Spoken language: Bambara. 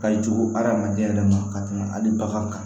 Ka jogo adamaden yɛrɛ ma ka tɛmɛ hali bagan kan